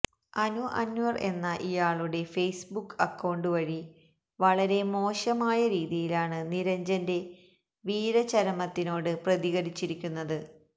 അനു അന്വര് എന്ന ഇയാളുടെ Facebook അക്കൌണ്ടുവഴി വളരെ മോശമായ രീതിയിലാണ് നിരഞ്ജന്റെ വീരചരമത്തിനോട് പ്രതികരിച്ചിരിക്കുന്നത്